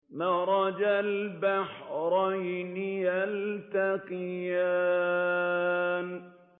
مَرَجَ الْبَحْرَيْنِ يَلْتَقِيَانِ